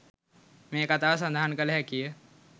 මේ කතාව සඳහන් කළ හැකිය.